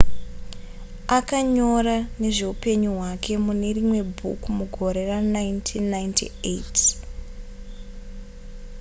akanyora nezveupenyu hwake mune rimwe bhuku mugore ra1998